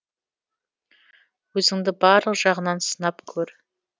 өзіңді барлық жағынан сынап көр